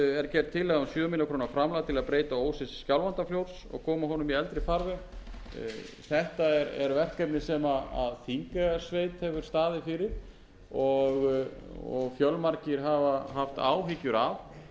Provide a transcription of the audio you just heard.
er gerð tillaga um sjö milljónir króna framlag til að breyta ósi skjálfandafljóts og koma honum í eldri farveg þetta er verkefni sem þingeyjarsveit hefur staðið fyrir og fjölmargir hafa haft áhyggjur af en sandarnir